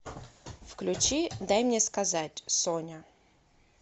включи дай мне сказать соня